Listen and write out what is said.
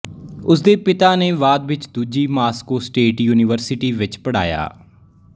ਉਸਦੇ ਪਿਤਾ ਨੇ ਬਾਅਦ ਵਿੱਚ ਦੂਜੀ ਮਾਸਕੋ ਸਟੇਟ ਯੂਨੀਵਰਸਿਟੀ ਵਿੱਚ ਪੜ੍ਹਾਇਆ